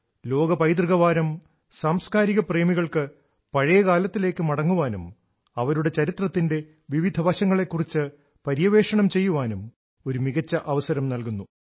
ലോക പൈതൃക വാരം സാംസ്കാരിക പ്രേമികൾക്ക് പഴയ കാലത്തിലേക്ക് മടങ്ങാനും അവരുടെ ചരിത്രത്തിന്റെ വിവിധ വശങ്ങളെ കുറിച്ച് പര്യവേക്ഷണം ചെയ്യാനും ഒരു മികച്ച അവസരം നൽകുന്നു